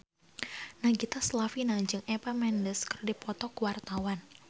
Nagita Slavina jeung Eva Mendes keur dipoto ku wartawan